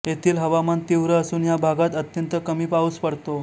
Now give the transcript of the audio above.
येथील हवामान तीव्र असून ह्या भागात अत्यंत कमी पाउस पडतो